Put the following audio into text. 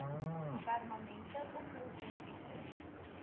permanente oplossing bied